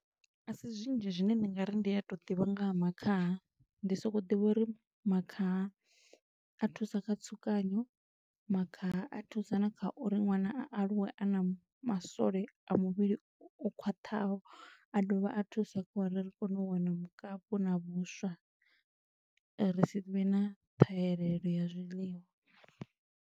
A si zwinzhi zwine ndi nga ri ndi a to ḓivha nga ha makhaha, ndi soko ḓivha uri makhaha a thusa kha tsukanyo, makhaha a thusa na kha uri ṅwana a aluwe a na masole a muvhili o khwaṱhaho, a dovha a thusa kha uri ri kone u wana mukapu na vhuswa, ri si vhe na ṱhahelelo ya zwiḽiwa